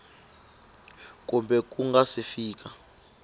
kumbe ku nga si fika